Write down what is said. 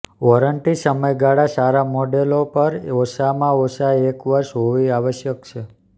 warranty સમયગાળા સારા મોડેલો પર ઓછામાં ઓછા એક વર્ષ હોવી આવશ્યક છે